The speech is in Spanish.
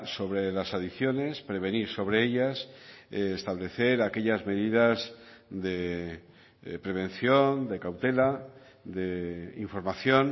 sobre las adicciones prevenir sobre ellas establecer aquellas medidas de prevención de cautela de información